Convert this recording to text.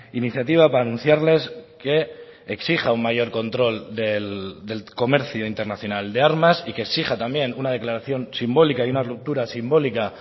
iniciativa para anunciarles que exija un mayor control del comercio internacional de armas y que exija también una declaración simbólica y una ruptura simbólica